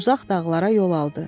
Uzaq dağlara yol aldı.